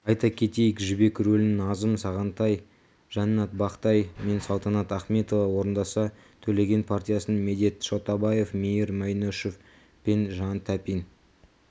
айта кетейік жібек рөлін назым сағынтай жаннат бақтай мен салтанат ахметова орындаса төлеген партиясын медет шотабаев мейір бәйнешов пен жан тәпин